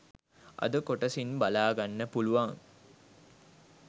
අද කොටසින් බලාගන්න පුලුවන්.